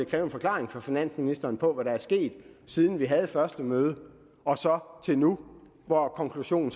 kræve en forklaring fra finansministeren på hvad der er sket siden vi havde første møde og til nu hvor konklusionen